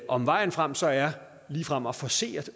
om vejen frem så er ligefrem at forcere